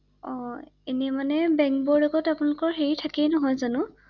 অ এনে মানে বেংকবোৰৰ লগত আপোনালোকৰ হেৰি থাকে নহয় জানো ৷